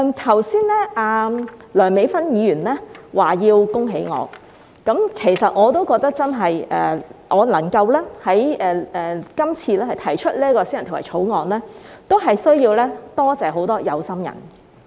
剛才梁美芬議員說要恭喜我，其實我也認為我這次能夠提出私人條例草案需要多謝很多有心人。